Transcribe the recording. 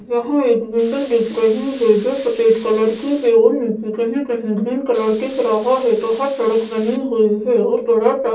यहां एक बिल्डिंग दिख रही है जो सफेद कलर की है और नीचे कहीं-कहीं ग्रीन कलर दिख रहा है तो वह सड़क बनी हुई है और थोड़ा सा --